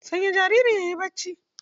Sanya jaririn yayi barci